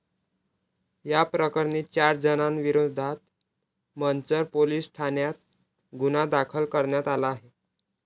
याप्रकरणी चार जणांविरोधात मंचर पोलीस ठाण्यात गुन्हा दाखल करण्यात आला आहे.